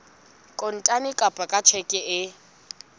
kontane kapa ka tjheke e